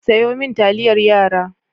Sayo min taliyar yara.